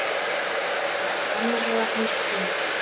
Það var sannarlega hans tími.